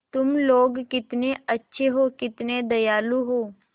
तुम लोग कितने अच्छे हो कितने दयालु हो